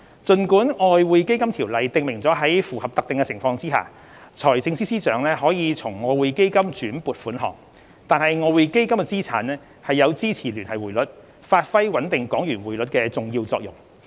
儘管《條例》訂明在符合特定情況下，財政司司長可從外匯基金轉撥款項，但外匯基金資產有支持聯繫匯率，發揮穩定港元匯率的重要作用。